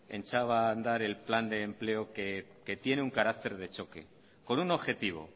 echaba a andar el plan de empleo que tiene un carácter de choque con un objetivo